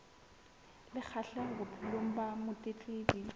le kgahleho bophelong ba motletlebi